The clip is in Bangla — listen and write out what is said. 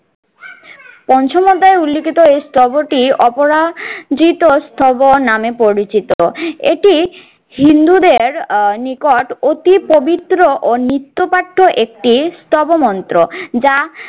পঞ্চম অধ্যায় উল্লেখিত স্তবটি অপরাজিত স্তব নামে পরিচিত। এটি হিন্দুদের আহ নিকট অতি পবিত্র ও নিত্য পাঠ্য একটি স্তব মন্ত্র যা